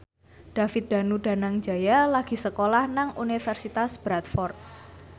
David Danu Danangjaya lagi sekolah nang Universitas Bradford